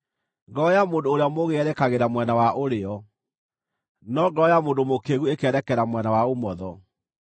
Ngoro ya mũndũ ũrĩa mũũgĩ yerekagĩra mwena wa ũrĩo, no ngoro ya mũndũ mũkĩĩgu ĩkeerekera mwena wa ũmotho.